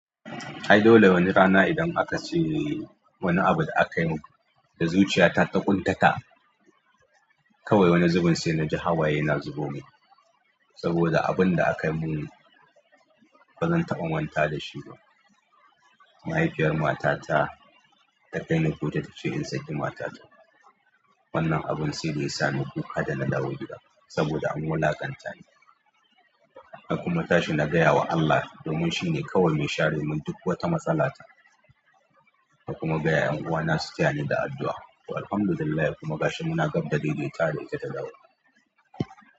Ai dole wani rana idan aka ce wani abu da aka yi da zuciya ta takuntata. Kawai wani zubin sai naji hawaye na zubo min saboda abun da aka yi mun bazan taɓa manta da shi ba. Mahaifiyar matata ta kai ni kotu ta ce in saki matata. Wannan abun saida ya sani kuka da na dawo gida saboda an wulakantani kuma na tashi na gayama Allah, domin shine mai share min duk wata matsala ta na kuma gaya 'yan uwana su taya ni da addu'a. To Alhamdulillah kuma gashi muna gab da dai dai tawa da ita ta dawo.